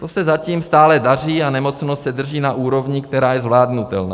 To se zatím stále daří a nemocnost se drží na úrovni, která je zvládnutelná.